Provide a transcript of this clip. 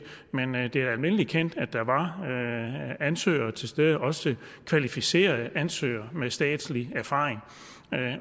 men det er almindeligt kendt at der var ansøgere til stede også kvalificerede ansøgere med statslig erfaring